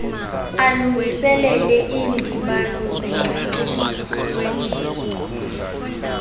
alungiselele iindibano zengcaciso